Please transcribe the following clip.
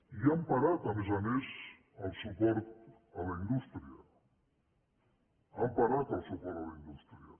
i han parat a més a més el suport a la indústria han parat el suport a la indústria